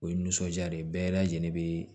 O ye nisɔndiya de ye bɛɛ lajɛlen bɛ